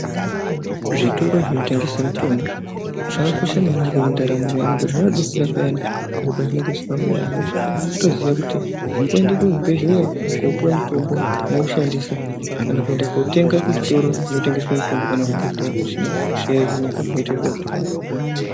Zvitoro zvinotengese mitombo zvakakosha maningi pandarambo yeantu ngokuti zvinodetsera payani zviro pazvinenge zvisina kumira mushe. Kutoziya kuti kutoende kuzvibhedhleya koopuwe mutombo moushandisa kana kuenda kuotenga kuzvitoro zvinotengeswe mutombo kana kuchibhedhleya kusina hosha yohinika, zviro zvoite zvakanaka.